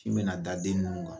Sin bɛ na da den ninnu kan.